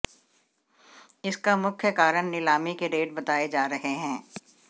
इसका मुख्य कारण नीलामी के रेट बताए जा रहे हैं